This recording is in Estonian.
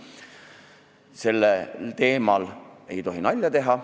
Sellel teemal ei tohi nalja teha.